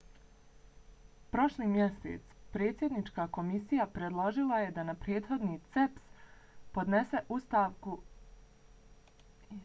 prošli mjesec predsjednička komisija predložila je da prethodni cep podnese ostavku kao dio paketa mjera za kretanje države prema novim izborima